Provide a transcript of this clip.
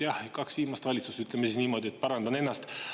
Kaks viimast valitsust, ütleme siis niimoodi, parandan ennast.